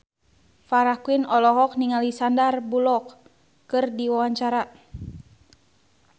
Farah Quinn olohok ningali Sandar Bullock keur diwawancara